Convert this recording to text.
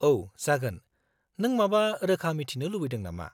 -औ, जागोन। नों माबा रोखा मिथिनो लुबैदों नामा?